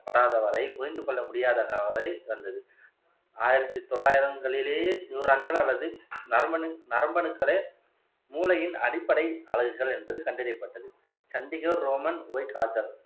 படாதவரை புரிந்து கொள்ள முடியாதது ஆயிரத்தி தொள்ளாயிரத்தி நூரான்கள் அல்லது நரம்பு அணு நரம்பு அணுக்களே மூளையின் அடிப்படை அலகுகள் என்பது கண்டறியப்பட்டது சண்டிகோ ரோமன்